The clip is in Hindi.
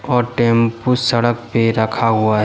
और टेम्पू सड़क पे रखा हुआ है।